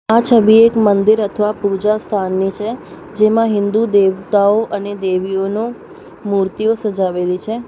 આ છબી એક મંદિર અથવા પૂજાસ્થાનની છે જેમાં હિન્દુ દેવતાઓ અને દેવીઓનું મૂર્તિઓ સજાવેલી છે.